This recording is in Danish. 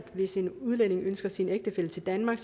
hvis en udlænding ønsker sin ægtefælle til danmark